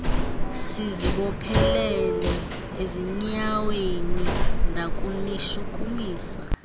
sizibophelele ezinyaaweni ndakunishukumisa